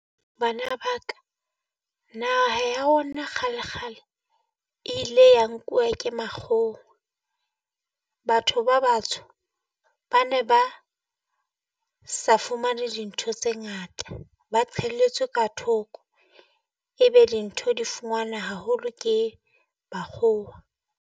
Bana ba ka naha ya rona kgale kgale e ile ya nkuwa ke makgowa. Batho ba batsho ba ne ba sa fumane dintho tse ngata ba qhelletswe ka thoko, ebe dintho di fumanwa haholo ke makgowa.